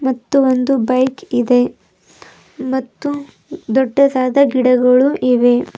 ಮತ್ತು ಒಂದು ಬೈಕ್ ಇದೆ ಮತ್ತು ದೊಡ್ಡದಾದ ಗಿಡಗಳು ಇವೆ.